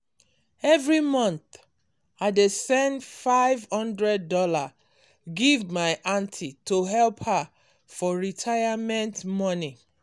every month i dey send five Hundred dollars give my aunty to help her for retirement money